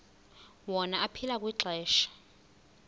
wona aphila kwixesha